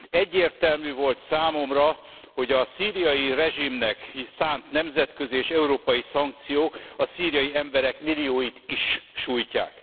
Egyértelmű volt számomra, hogy a szíriai rezsimnek szánt nemzetközi és európai szankciók a szíriai emberek millióit is sújtják.